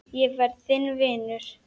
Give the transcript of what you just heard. Ég verð þinn vinur.